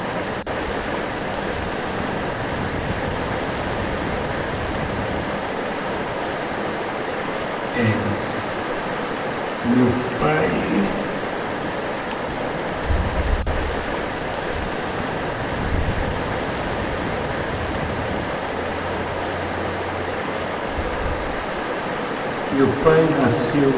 Seus pais meu pai nasceu